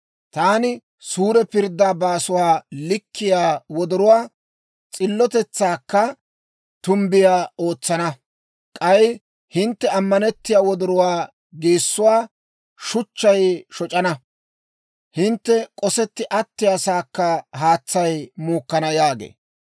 Taani suure pirddaa baasuwaa likkiyaa wodoruwaa, s'illotetsaakka tumbbiyaa ootsana. K'ay hintte amanetiyaa wordduwaa geessuwaa, shachchay shoc'ana; hintte k'osetti attiyaasaakka haatsay muukkana» yaagee.